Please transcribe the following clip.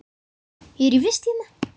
Ég er í vist hérna.